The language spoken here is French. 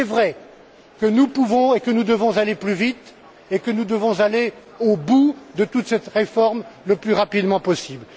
Mais il est vrai que nous pouvons et que nous devons aller plus vite et que nous devons aller au bout de toute cette réforme le plus rapidement possible.